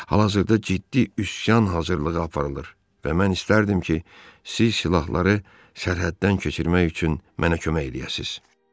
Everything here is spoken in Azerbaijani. Hal-hazırda ciddi üsyan hazırlığı aparılır və mən istərdim ki, siz silahları sərhəddən keçirmək üçün mənə kömək eləyəsiniz.